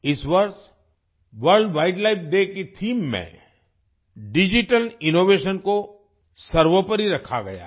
इस वर्ष world wild life day की थीम में डिजिटल इनोवेशन को सर्वोपरि रखा गया है